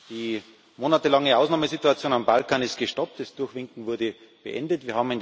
Die monatelange Ausnahmesituation auf dem Balkan ist gestoppt, das Durchwinken wurde beendet.